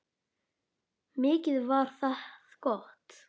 Mikið var það gott.